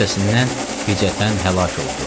Qüssəsindən ficətən həlak oldu.